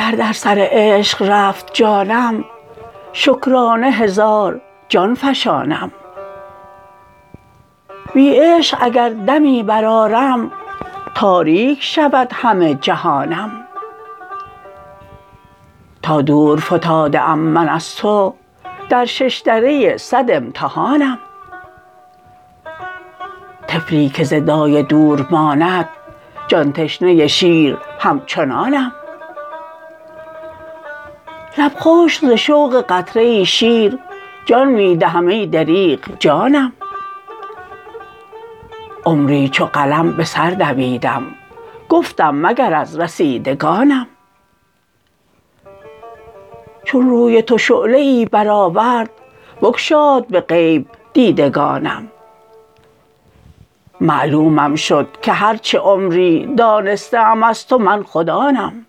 گر در سر عشق رفت جانم شکرانه هزار جان فشانم بی عشق اگر دمی برآرم تاریک شود همه جهانم تا دور فتاده ام من از تو در ششدره صد امتحانم طفلی که ز دایه دور ماند جان تشنه شیر همچنانم لب خشک ز شوق قطره ای شیر جان می دهم ای دریغ جانم عمری چو قلم به سر دویدم گفتم مگر از رسیدگانم چون روی تو شعله ای برآورد بگشاد به غیب دیدگانم معلومم شد که هرچه عمری دانسته ام از تو من خود آنم